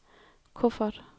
kuffert